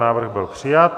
Návrh byl přijat.